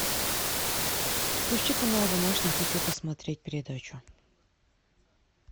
включи канал домашний я хочу посмотреть передачу